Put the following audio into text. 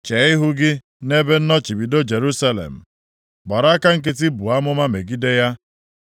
Chee ihu gị nʼebe nnọchibido Jerusalem, gbara aka nkịtị buo amụma megide ya.